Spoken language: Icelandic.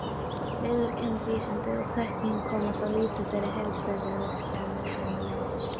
Viðurkennd vísindi og þekking koma þá fyrir lítið og heilbrigðiskerfið sömuleiðis.